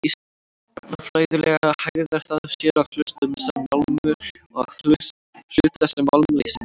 Efnafræðilega hegðar það sér að hluta sem málmur og að hluta sem málmleysingi.